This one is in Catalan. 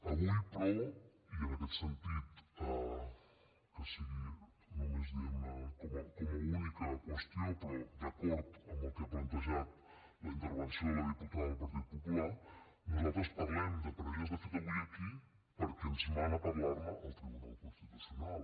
avui però i en aquest sentit que sigui només diguem ne com a única qüestió però d’acord amb el que ha plantejat la intervenció de la diputada del partit popular nosaltres parlem de parelles de fet avui aquí perquè ens mana parlar ne el tribunal constitucional